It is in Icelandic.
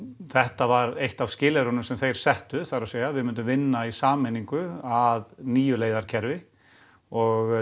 þetta var eitt af skilyrðunum sem þeir settu það er að segja við myndum vinna í sameiningu að nýju leiðakerfi og